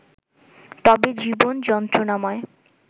তবে জীবন যন্ত্রণাময়